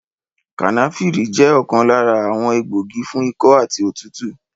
Kànáfìrì jẹ́ ọ̀kan lára àwọn egbògi fún ikọ́ àti òtútù